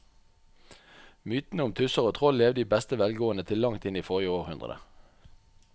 Mytene om tusser og troll levde i beste velgående til langt inn i forrige århundre.